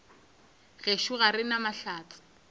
gešo ga re na mahlatse